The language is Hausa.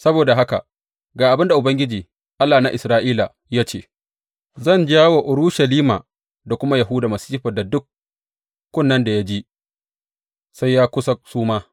Saboda haka ga abin da Ubangiji, Allah na Isra’ila ya ce, zan jawo wa Urushalima da kuma Yahuda masifar da duk kunnen da ya ji, sai ya kusa suma.